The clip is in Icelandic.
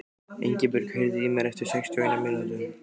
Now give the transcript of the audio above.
Ingibjört, heyrðu í mér eftir sextíu og eina mínútur.